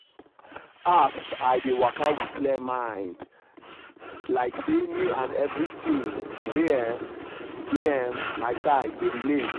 as i dey waka with clear mind i dey feel like say me and everything wey um dey um my side dey relate.